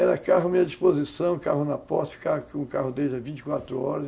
Era carro à minha disposição, carro na posse, ficava com o carro vinte e quatro horas.